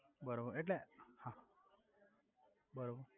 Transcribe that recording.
બરોબર એટલે હા બરોબર